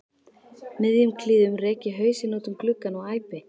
miðjum klíðum rek ég hausinn út um gluggann og æpi